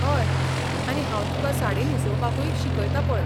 हय, आनी हांव तुकां साडी न्हेसोवपाकूय शिकयतां पळय.